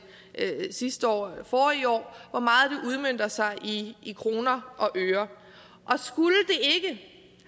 sidste år eller forrige år udmønter sig i i kroner og øre og skulle det